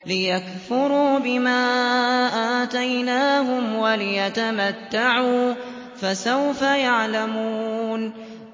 لِيَكْفُرُوا بِمَا آتَيْنَاهُمْ وَلِيَتَمَتَّعُوا ۖ فَسَوْفَ يَعْلَمُونَ